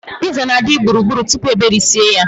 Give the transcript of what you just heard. Piiza na-adị gburugburu tupu e berisie ya.